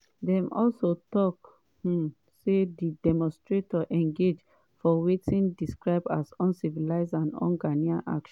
dey also tok um say di demonstrators engage for wetin dey describe as “uncivil and unghanaian actions”.